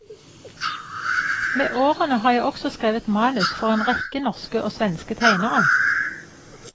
Med årene har jeg også skrevet manus for en rekke norske og svenske tegnere.